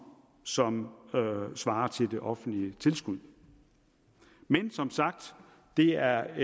som svarer til det offentlige tilskud men det er